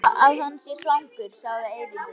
Ég hugsa að hann sé svangur sagði Eiríkur.